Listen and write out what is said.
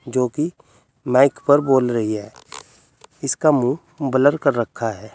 जो कि माइक पर बोल रही है उसका मुँह ब्लर कर रखा है।